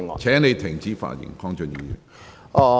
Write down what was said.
請你停止發言。